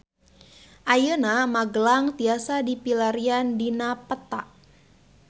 Ayeuna Magelang tiasa dipilarian dina peta